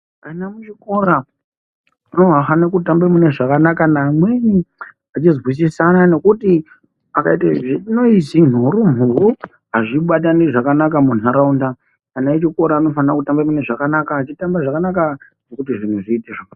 Ana mu chikora anofane kutamba mune zvakanaka ne amweni achi zwisisana nekuti akaite zvine noizi nhowe nhowe azvi batani zvakanaka mu nharaunda ana echikora anofana kutamba mune zvakanaka achitamba zvakanaka zvekuti zvinhu zviiite zvakanaka.